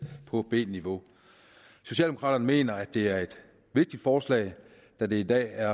på b niveau socialdemokraterne mener at det er et vigtigt forslag da det i dag er